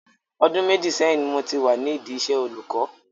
Ọdún méjì sẹ́yìn ni mo ti wà nídi iṣẹ́ olùkọ́.